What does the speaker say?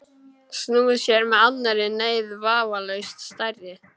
Snúið sér að annarri neyð, vafalaust stærri.